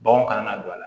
Baganw kana na don a la